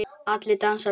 Allir dansa við alla.